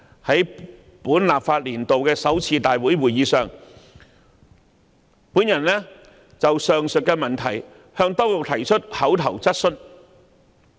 在本立法年度的首次立法會會議上，我就上述問題向當局提出口頭質詢。